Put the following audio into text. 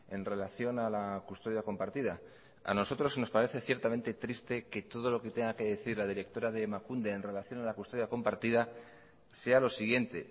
en relación a la custodia compartida a nosotros nos parece ciertamente triste que todo lo que tenga que decir la directora de emakunde en relación a la custodia compartida sea lo siguiente